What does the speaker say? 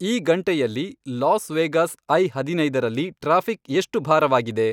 ಈ ಗಂಟೆಯಲ್ಲಿ Las Vegas I ಹದಿನೈದರಲ್ಲಿ ಟ್ರಾಫಿಕ್ ಎಷ್ಟು ಭಾರವಾಗಿದೆ